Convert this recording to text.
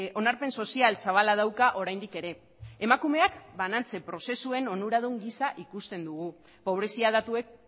onarpen sozial zabala dauka oraindik ere emakumeak banantze prozesuen onuradun gisa ikusten dugu pobrezia datuek